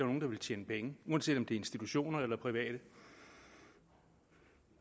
nogle der vil tjene penge uanset om det er institutioner eller private